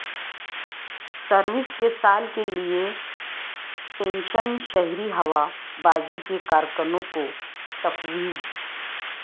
service کے سال کے لئے پنشن شہری ہوا بازی کے کارکنوں کو تفویض